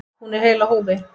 Hún er heil á húfi.